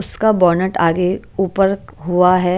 उसका बोनट आगे ऊपर हुआ हैं।